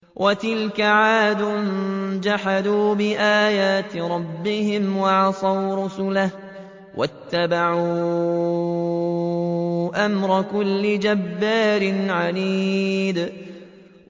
وَتِلْكَ عَادٌ ۖ جَحَدُوا بِآيَاتِ رَبِّهِمْ وَعَصَوْا رُسُلَهُ وَاتَّبَعُوا أَمْرَ كُلِّ جَبَّارٍ عَنِيدٍ